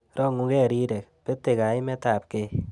Rongukei rirek, betei kaimetabkei